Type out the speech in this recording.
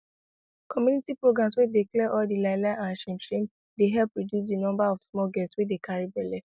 community programs wey dey clear all di lie lie and shame shame dey help reduce di number of small girls wey dey carry belle